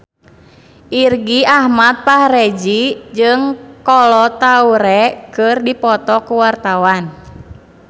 Irgi Ahmad Fahrezi jeung Kolo Taure keur dipoto ku wartawan